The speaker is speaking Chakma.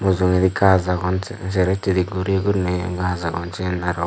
mujungedi gaj agon sey sero hiddedi guri guriney gaj agon sen arw.